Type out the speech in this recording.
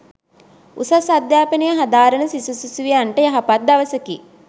උසස් අධ්‍යාපනය හදාරන සිසු සිසුවියන්ට යහපත් දවසකි